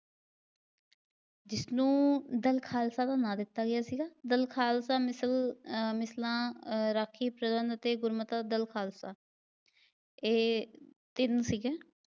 ਜਿਸਨੂੰ ਦਲ ਖਾਲਸਾ ਦਾ ਨਾ ਦਿੱਤਾ ਗਿਆ ਸੀਗਾ। ਦਲ ਖਾਲਸਾ ਮਿਸਲ ਆਹ ਮਿਸਲਾਂ ਅਤੇ ਗੁਰਮਤਾ ਦਲ ਖਾਲਸਾ। ਇਹ ਤਿੰਨ ਸੀਗੇ